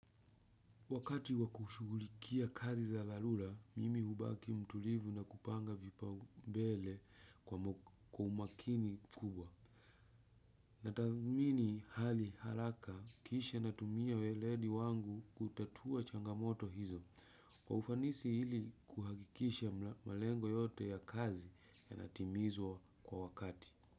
Wakati wakushughulikia kazi za dharura, mimi hubaki mtulivu na kupanga vipao mbele kwa umakini mkubwa. Natathmini hali haraka kisha natumia weledi wangu kutatua changamoto hizo. Kwa ufanisi ili kuhakikisha malengo yote ya kazi ya natimizwa kwa wakati.